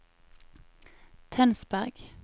Tønsberg